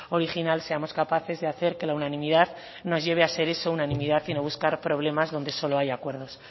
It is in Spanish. original seamos capaces de hacer que la unanimidad nos lleven a ser eso una unanimidad y no buscar problemas donde solo hay acuerdos